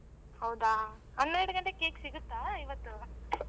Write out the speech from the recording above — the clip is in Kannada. ಹೌದಾ ಹನ್ನೆರಗಂಟೆಗೆ cake ಸಿಗುತ್ತಾ ಇವತ್ತು?